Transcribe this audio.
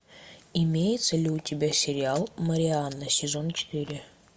имеется ли у тебя сериал марианна сезон четыре